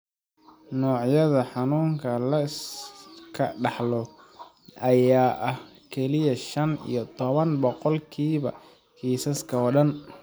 Noocyada xanuunka la iska dhaxlo ayaa ah kaliya shan iyo toban boqolkiiba kiisaska oo dhan.